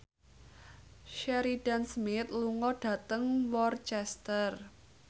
Sheridan Smith lunga dhateng Worcester